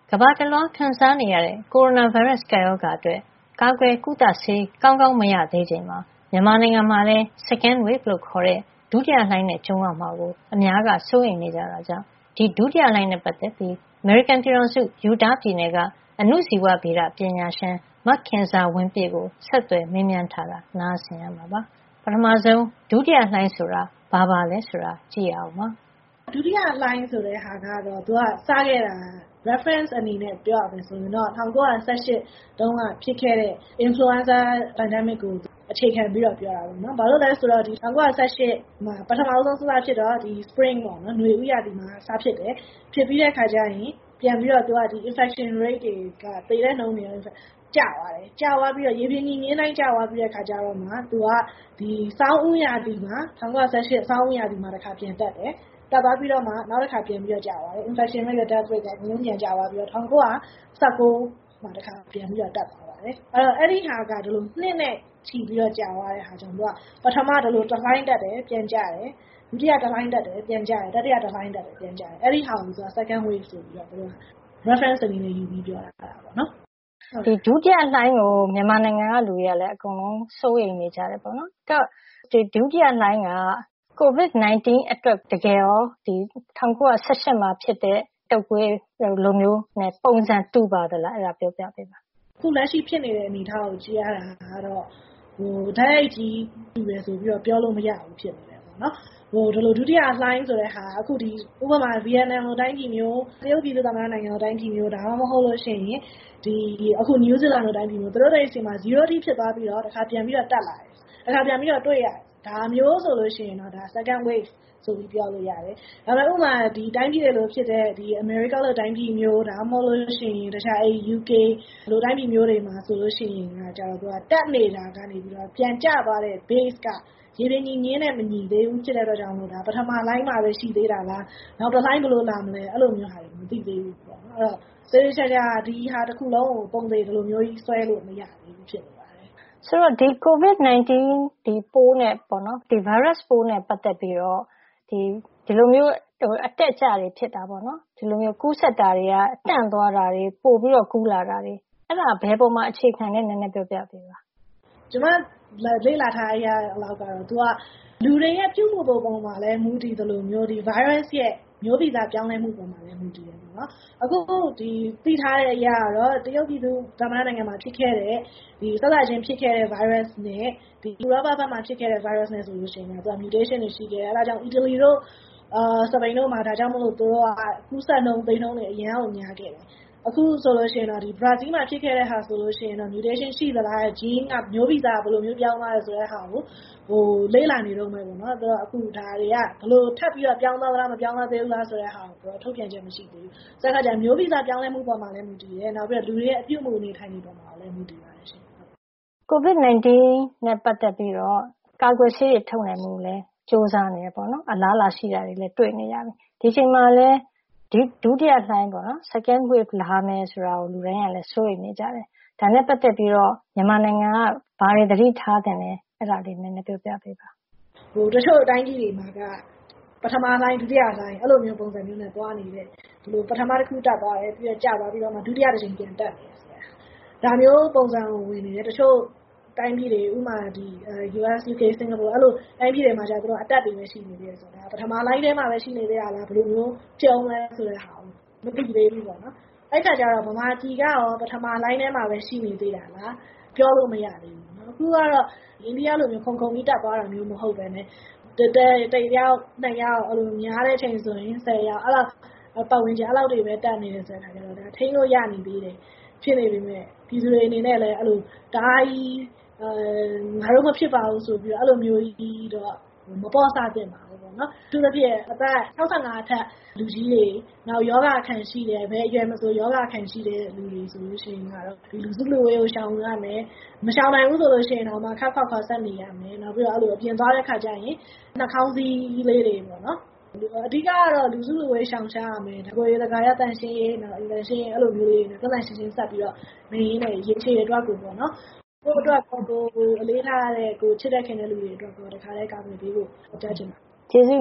ကမ္ဘာတလွှားခံစားနေရတဲ့ ကိုရိုနာဗိုင်းရပ်စ် ကပ်ရောဂါအတွက် ကာကွယ်ကုသဆေး ကောင်းကောင်း မရသေးချိန်မှာ မြန်မာနိုင်ငံမှာလည်း Second wave လို့ ခေါ်တဲ့ ဒုတိယလှိုင်းနဲ့ ကြုံရမှာကို အများက စိုးရိမ်နေကြတာကြောင့် ဒီဒုတိယလှိုင်းနဲ့ပတ်သက်ပြီး အမေရိကန်ပြည်ထောင်စု Utah ပြည်နယ်က အဏုဇီဝဗေဒပညာရှင် မခင်ဇာဝင်းပြည့်ကို ဒေါ်ခင်မျိုးသက်က ဆက်သွယ်မေးမြန်းထားတာ နားဆင်ရမှာပါ။ ပထမဆုံး ဒုတိယလှိုင်းဆိုတာကို သူက အခုလို စရှင်းပြပါတယ်။ ဒုတိယလှိုင်းဆိုတာက သူက စခဲ့တာ reference အနေနဲ့ ပြောရမယ်ဆိုရင်တော့ ၁၉၁၈ တုန်းက ဖြစ်ခဲ့တဲ့ Influenza Pandemic ကို အခြေခံပြီးတော့ ပြောတာပေါ့နော်။ ဘာလို့လဲဆိုတော့ ၁၉၁၈ တုန်းက စဖြစ်တော့ Spring ပေါ့နော် နွေဦးရာသီမှာ စဖြစ်တယ်၊ ဖြစ်ပြီးတဲ့အခါကျရင် သူက infection rate တွေ သေနှှုန်းတွေက ကျသွားတယ်။ ရေပြင်ညီမျဉ်းအတိုင်း ကျသွားပြီးတဲ့အခါကျမှ သူက ၁၉၁၈ ဆောင်းဦးရာသီမှာ တခါ ပြန်တက်တယ်။ တက်သွားပြီးတော့ နောက်တခါ ပြန်ကျသွားတယ်။ infection rate နဲ့ death rate က ကျသွားပြီးတော့ ၁၉၁၉ မှာ တခါပြန်ပြီးတော့ တက်သွားတာပေါ့နော် အဲဒီဟာက ဒီလို နှစ်နဲ့ ချီပြီးတော့ ကြာသွားတဲ့အခါကျတော့ ပထမ ဒီလို တလှိုင်းတက်တယ်၊ ပြီးတော့ ပြန်ကျတယ်။ ဒုတိယလှိုင်းတက်တယ် ၊ ပြန်ကျတယ်။ တတိယ တလှိုင်းတက်တယ် ၊ ပြန်ကျတယ် အဲဒါကို သူက Second wave ဆိုပြီးတော့ သုံးတာပါ ဒါက reference အနေနဲ့ပြောတာပေါ့နော်။ ဒုတိယလှိုင်းကို မြန်မာပြည်ကလူတွေလည်း စိုးရိမ်နေကြတယ်ပေါေ့နာ်။ အဲဒီတော့ ဒုတိယလှိုင်းက COVID-19 အတွက် ၁၉၁၈ တုန်းကဖြစ်တဲ့ တုပ်ကွေးလိုမျိုးနဲ့ ပုံစံတူပါသလား အဲဒါလေး ပြောပြပေးပါ။ အခုလက်ရှိဖြစ်နေတဲ့ အနေအထားကို ကြည့်ရတာကတော့ တိုက်ရိုက်တူတယ်လို့ ပြောလို့မရဘူးဖြစ်နေတယ်။ ဒုတိယလှိုင်းဆိုတာက Vietnam လိုတိုင်းပြည်မျိုး ၊ တရုတ်ပြည်သူ့ သမ္မတနိုင်ငံလို တိုင်းပြည်မျိုး ၊ ဒါမှမဟုတ်ရင် New Zealand လိုတိုင်းပြည်မျိုး သူတို့တွေဆီမှာ zero အထိဖြစ်သွားပြီးတော့ တခါပြန်တက်လာတယ်။ ဒါမျိုးဆိုရင် Second wave ဆိုပြီးတော့ ပြောလို့ရပါတယ်။ ဥပမာ အမေရိကန်လိုတိုင်းပြည်မျိုး၊ UK လိုတိုင်းပြည်မျိုးဆိုရင် တက်နေတာကနေ ပြန်ကျသွားတဲ့ base က ရေပြင်ညီမျဉ်းနဲ့ မညီသေးတာဖြစ်တဲ့အတွက် ဒါက ပထမလှိုင်းမှာပဲ ရှိသေးတာလား နောက်တလှိုင်းဘယ်လိုလာမလဲ၊ အဲလိုမျိုးဟာတွေ မသိသေးဘူးပေါ့နော်။ ဆိုတော့ သေသေချာချာ ဒါတခုလုံးကို ပုံသေဆွဲလို့ မရသေးဘူးပေါ့နော်။ COVID-19 ဗိုင်းရပ်ပိုးနဲ့ ပတ်သက်ပြီးတော့ဒီလို အတက်အကျတွေဖြစ်တာပေါ့နော် ။ ကူးစက်တာတွေက တန့်သွားတာတွေ၊ ပိုပြီးတော့ ကူးလာတာတွေ အဲဒါ ဘယ်အပေါ်မှာ အခြေခံသလဲ နည်းနည်းပြောပြပါ။ ကျမလေ့လာထားတဲ့အရကတော့ သူက လူတွေရဲ့ ပြုမှုပုံမှာလည်း မူတည်သလိုမျိုး Virus ရဲ့ မျိုးဗီဇပြောင်းလဲမှုပေါ်မှာလည်း မူတည်တယ်။ အခုသိထားတဲ့အရ တရုတ်ပြည်သူ့သမ္မတနိုင်ငံမှာ စစချင်းဖြစ်ခဲ့တဲ့ ဗိုင်းရပ်စ်နဲ့ ဥရောပမှာ ဖြစ်ခဲ့တဲ့ ဗိုင်းရပ်စ်နဲ့ သူက Mutation တွေရှိတယ်။ အဲဒါကြောင့် အီတလီတို့ စပိန်တို့မှာ ဒါကြောင့်မို့ ကူးစက်နှုန်းသေနှုန်းတွေ အရမ်းများခဲ့တယ်။ အခုဆိုရင် ဘရာဇီးမှာ ဖြစ်ခဲ့တာဆိုရင် Mutation ရှိသလား မျိုးဗီဇဘယ်လိုမျိုး ပြောင်းသွားသလဲဆိုတာကို လေ့လာနေတုန်းပဲပေါ့နော်။ အခုဒါတွေက ဘယ်လိုထပ်ပြီးတော့ ပြောင်းသွားသလား၊ မပြောင်းလဲသေးဘူးလားဆိုတာ သူက ထုတ်ပြန်ချက်မရှိသေးဘူး။ ဆိုတော့ မျိုးဗီဇပြောင်းလဲမှုပေါ်မှာလည်း မူတည်တယ်၊ လူတွေရဲ့ ပြုမှုနေထိုင်ပုံမှာလည်း မူတည်ပါတယ်ရှင့်။ COVID-19 နဲ့ ပတ်သက်ပြီးတော ကာကွယ်ဆေးတွေလည်း ထုတ်နိုင်ဖို့ ကြိုးစားတယ်ပေါေ့နာ်။ အလားအလာရှိတာတွေလည်း တွေ့နေရတယ်။ ဒီအချိန်မှာလည်း ဒုတိယလှိုင်း Second wave လာမယ် ဆိုပြီးတော့ လူတိုင်က စိုးရိမ်နေတယ်။ ဒါနဲ့ ပတ်သက်ပြီးတော့ မြန်မာနိုင်ငံက ဘာတွေ သတိထားသင့်သလဲ အဲဒါ နည်းနည်းပြောပြပေးပါ။ တချို့တိုင်းပြည်တွေမှာက ပထမလှိုင်း၊ ဒုတိယလှိုင်း အဲလိုပုံစံတွေနဲ့ သွားနေတယ်။ ပထမတခုတက်သွားတယ်၊ ကျသွားပြီးတော့ ဒုတိယတကြိမ် ပြန်တက်တယ်။ ဒါမျိုးပုံစံတွေ ဝင်နေတယ်၊ တချို့တိုင်းပြည်တွေ ဥပမာ - US ဖြစ်ဖြစ် Singapore တွေမှာတော့ အတက်တွေပဲ ရှိနေသေးတယ်ဆိုတော့ ဒါက ပထမလှိုင်းထဲမှာပဲ ရှိနေသေးတာလား ဘယ်လိုဖြစ်ဦးမလဲဆိုတာ မသိသေးဘူးပေါ့နော်။ အဲဒီအခါကျတော့ မြန်မာပြည်ကရော ပထမလှိုင်းထဲမှာပဲ ရှိနေသေးတာလား ပြောလို့မရသေးဘူးပေါ့နော် ။အခုကတော့ အိန္ဒိယလိုမျိုး ခုန်ခုန်ပြီး တက်သွားတာမဟုတ်ပဲနဲ့ တယောက်၊ နှစ်ယောက် များတဲ့အချိန်ဆိုရင် ၁၀ ယောက်ပတ်ဝန်းကျင် အဲဒီလောက်ပဲ တက်နေတယ်ဆိုတော့ ဒါက ထိန်းလို့ရတယ် ဖြစ်နေသေးပေမယ့် ပြည်သူတွေအနေနဲ့လည်း ငါတို့မဖြစ်ပါဘူးဆိုပြီးတော့ အဲလိုမျိုး မပေ့ါဆသင့်ပါဘူး။ အထူးသဖြင့် အသက် ၆၅ နှစ်အထက် လူကြီးတွေ ၊ ဘယ်အရွယ်မဆို ရောဂါအခံရှိတဲ့လူတွေ ဆိုရင် လူစုလူဝေးကို ရှောင်ရမယ် ၊ မရှောင်နိုင်ရင် ခပ်ခွာခွာနေရမယ်။ နောက်ပြီးတော့ အပြင်သွားတဲ့ အခါကျရင် နှာခေါင်းစည်းလေးတွေ တပ်ရမယ်။ အဓိကတော့ လူစုလူဝေးကို ရှောင်ရမယ်၊ တကိုယ်ရည်သန့်ရှင်းရေး အဲလိုမျိုး သန့်သန့်ရှင်းရှင်းနေတာက ရေရှည်အတွက်အရေးကြီးပါတယ်။ ကိုယ့်အတွက်၊ ကိုယ်အလေးထားရတဲ့ ချစ်တဲ့ခင်တဲ့လူတွေအတွက် တခါတည်းကာကွယ်ဖို့ ပြောချင်ပါတယ်။ ကျေးဇူး